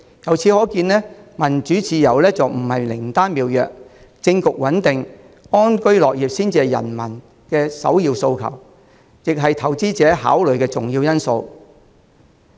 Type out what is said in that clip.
由此可見，民主自由不是靈丹妙藥，政局穩定、安居樂業才是人民的首要訴求，也是投資者考慮的重要因素。